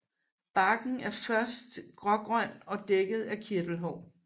Barken er først grågrøn og dækket af kirtelhår